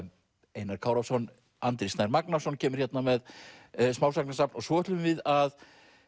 Einar Kárason Andri Snær Magnason kemur hérna með smásagnasafn svo ætlum við að